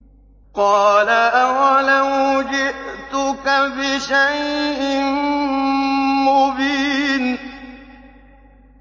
قَالَ أَوَلَوْ جِئْتُكَ بِشَيْءٍ مُّبِينٍ